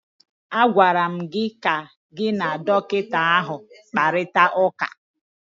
A gwara gị ka gị na dọkịta ahụ kparịta ụka!